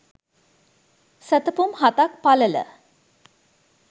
සැතපුම් හතක් පළල